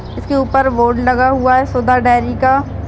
इसके ऊपर बोर्ड लगा हुआ है। सुधा डेयरी का।-